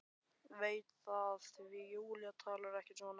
Veit það því Júlía talar ekki svona.